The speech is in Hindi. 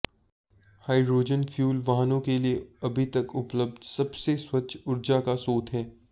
हाइड्रोजन फ्यूल वाहनों के लिए अभी तक उपलब्ध सबसे स्वच्छ ऊर्जा का स्रोत है